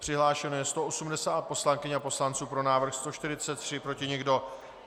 Přihlášeno je 180 poslankyň a poslanců, pro návrh 143, proti nikdo.